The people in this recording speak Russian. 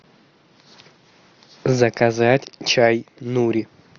заказать чай нури